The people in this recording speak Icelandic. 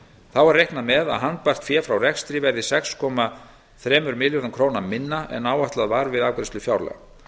þá er reiknað með að handbært fé frá rekstri verði sex komma þremur milljörðum króna minna en áætlað var við afgreiðslu fjárlaga